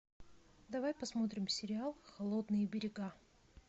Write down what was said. давай посмотрим сериал холодные берега